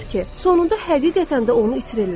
sonunda həqiqətən də onu itirirlər.